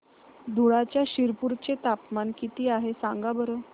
धुळ्याच्या शिरपूर चे तापमान किता आहे सांगा बरं